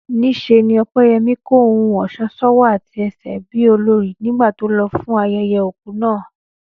Níṣe ni Ọpẹ́yẹmí kó ohun ọ̀ṣọ́ sọ́wọ́ àti ẹsẹ̀ bí olorì nígbà tó lọ fún ayẹyẹ òkú náà